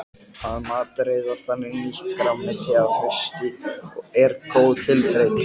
Að matreiða þannig nýtt grænmeti að hausti er góð tilbreyting.